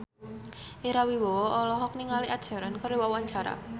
Ira Wibowo olohok ningali Ed Sheeran keur diwawancara